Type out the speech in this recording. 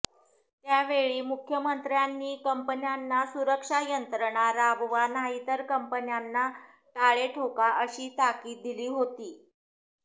त्यावेळी मुख्यमंत्र्यांनी कंपन्यांना सुरक्षा यंत्रणा राबवा नाहीतर कंपन्यांना टाळे ठोका अशी ताकीद दिली होती